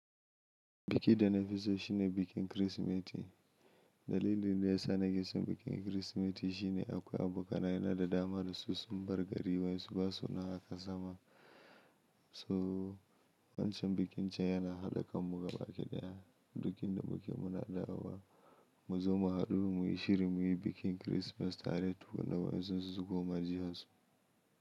Biki da na fi so shine bikin Kirsimeti. Dalilin da ya sa na ƙi son bikin Kirsimeti shine akwai abokanai na da dama da su sun bar gari waye su basu na haka zama. So wancan bikin can yana haɗa kanmu gaba ɗaya. Duk inda muke muna dawowa mu zo mu haɗu mu yi shiri mu yi bikin Christmas tare tukunna wayansun su sukoma jaharsu.